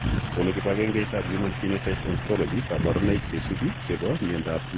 Konu kibagengeitab Human Phenotype Ontology kaborunoik cheisubi chebo miondop Maternal hyperphenylalaninemia.